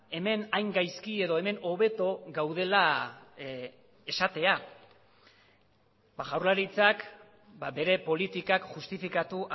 hemen hain gaizki edo hemen hobeto gaudela esatea jaurlaritzak bere politikak justifikatu